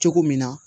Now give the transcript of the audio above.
Cogo min na